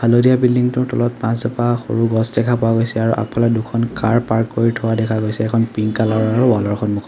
হালধীয়া বিল্ডিং টোৰ তলত পাঁচজোপা সৰু গছ দেখা পোৱা গৈছে আৰু আগফালে দুখন কাৰ পাৰ্ক কৰি থোৱা দেখা গৈছে এখন পিংক কালাৰ ৰ আৰু ৱাল ৰ সন্মুখত--